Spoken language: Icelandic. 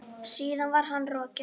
Síðan var hann rokinn.